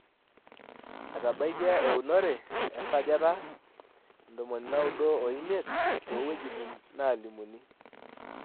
Etabaikia eunore esajata e 95 too wuejitin naalimuni.